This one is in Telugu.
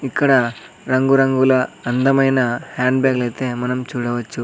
ఇక్కడ రంగురంగుల అందమైన హ్యాండ్ బ్యాగ్లైతే మనం చూడవచ్చు.